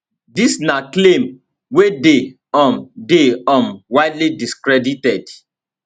dis na claim wey dey um dey um widely discredited